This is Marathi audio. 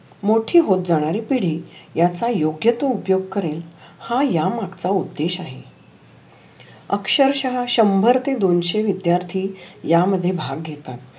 मोठी होत जानेरी पिढी याचा योग्य तू उपयोग करुण हा माझा उदेश आहे. अक्षर शहा शंभर ते दोनशे विद्यार्थी या मध्ये भाग घेतात.